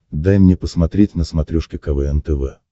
дай мне посмотреть на смотрешке квн тв